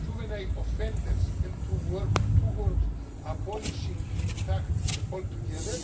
juvenile offenders, and to work towards abolishing the practice altogether.